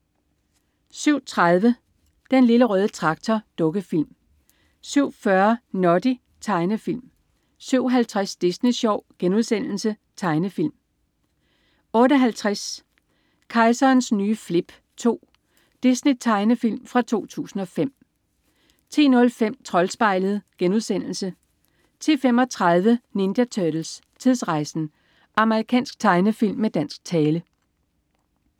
07.30 Den Lille Røde Traktor. Dukkefilm 07.40 Noddy. Tegnefilm 07.50 Disney Sjov.* Tegnefilm 08.50 Kejserens nye flip 2. Disney-tegnefilm fra 2005 10.05 Troldspejlet* 10.35 Ninja Turtles: Tidsrejsen! Amerikansk tegnefilm med dansk tale